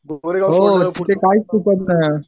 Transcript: हो ते काहीच सुटत नाही.